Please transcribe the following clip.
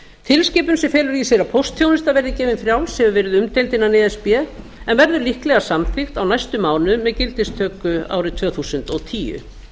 tilskipun sem felur í sér að póstþjónusta verði gefin frjáls hefur verið umdeild innan e s b en verður líklega samþykkt á næstu mánuðum með gildistöku árið tvö þúsund og tíu